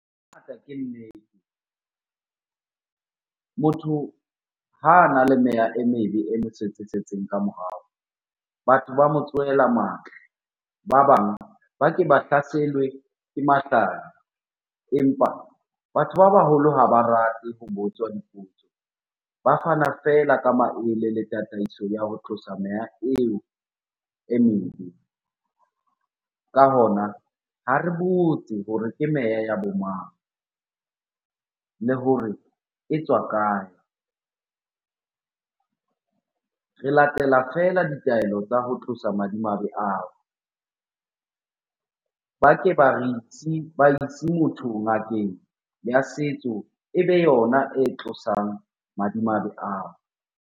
Ke nnete. Motho ha ana le meya e mebe e mo setseng-setseng ka morao, batho ba mo tsohela matla. Ba bang ba ke ba hlaselwe ke empa batho ba baholo ha ba rate ho botswa dipotso, ba fana feela ka maele le tataiso ya ho tlosa meya eo e mebe. Ka hona, ha re botse hore ke meya ya bo mang? Le hore e tswa kae? Re latela feela ditaelo tsa ho tlosa madimabe ao. Ba ke ba re isi, ba ise motho ngakeng ya setso ebe yona e tlosang madimabe ao.